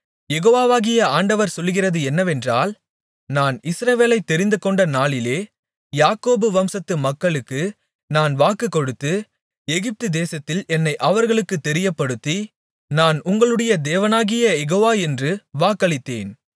யெகோவாகிய ஆண்டவர் சொல்லுகிறது என்னவென்றால் நான் இஸ்ரவேலைத் தெரிந்துகொண்ட நாளிலே யாக்கோபு வம்சத்து மக்களுக்கு நான் வாக்கு கொடுத்து எகிப்துதேசத்தில் என்னை அவர்களுக்குத் தெரியப்படுத்தி நான் உங்களுடைய தேவனாகிய யெகோவா என்று வாக்களித்தேன்